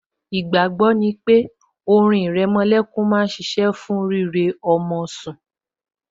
Ìgbàgbọ́ ni pé orin ìrẹmolẹ́kún máa ṣiṣẹ́ fún rírẹ ọmọ tẹ́